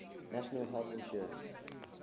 national health insurance